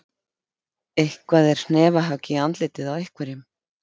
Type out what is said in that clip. Eitthvað er hnefahögg í andlitið á einhverjum